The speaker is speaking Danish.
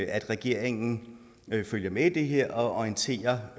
at regeringen følger med i det her og orienterer